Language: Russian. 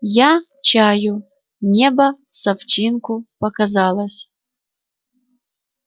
я чаю небо с овчинку показалось